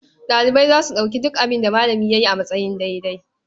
Ɗalibai za su ɗauki duk abin da malami ya yi a matsayin daidai.